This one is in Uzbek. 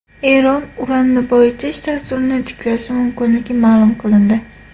Eron uranni boyitish dasturini tiklashi mumkinligi ma’lum qilindi.